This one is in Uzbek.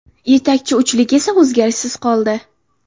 Yetakchi uchlik esa o‘zgarishsiz qoldi.